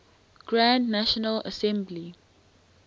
grand national assembly